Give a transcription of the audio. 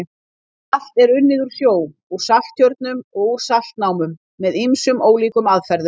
Salt er unnið úr sjó, úr salttjörnum og úr saltnámum með ýmsum ólíkum aðferðum.